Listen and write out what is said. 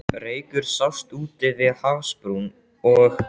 Reykur sást úti við hafsbrún, og